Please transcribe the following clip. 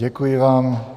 Děkuji vám.